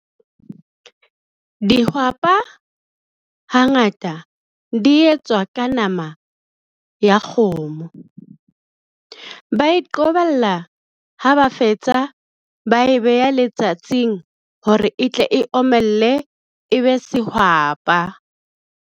Dihwapa hangata di etswa ka nama ya kgomo. Ba iqobella ha ba fetsa ba e beha letsatsing hore etle e omelle e be sehwapa.